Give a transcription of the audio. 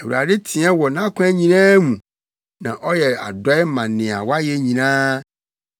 Awurade teɛ wɔ nʼakwan nyinaa mu; na ɔyɛ adɔe ma nea wayɛ nyinaa.